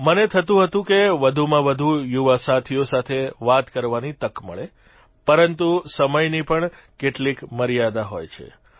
મને થતું હતું કે વધુમાં વધુ યુવા સાથીઓ સાથે વાત કરવાની તક મળે પરંતુ સમયની પણ કેટલીક મર્યાદા હોય છે